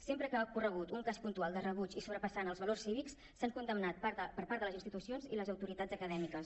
sempre que ha ocorregut un cas puntual de rebuig i que sobrepassa els valors cívics s’ha condemnat per part de les institucions i les autoritats acadèmiques